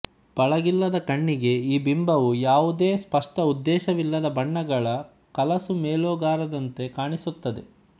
ಪಳಗಿಲ್ಲದ ಕಣ್ಣಿಗೆ ಈ ಬಿಂಬವು ಯಾವುದೇ ಸ್ಪಷ್ಟ ಉದ್ದೇಶವಿಲ್ಲದ ಬಣ್ಣಗಳ ಕಲಸುಮೇಲೋಗರದಂತೆ ಕಾಣಿಸುತ್ತದೆ